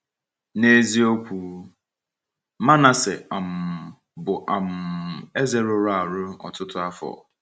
N’eziokwu, Manasseh um bụ um eze rụrụ arụ ọtụtụ afọ.